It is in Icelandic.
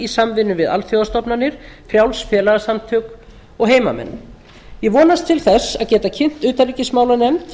í samvinnu við alþjóðastofnanir frjáls félagasamtök og heimamenn ég vonast til að geta kynnt utanríkismálanefnd